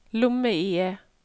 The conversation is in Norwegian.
lomme-IE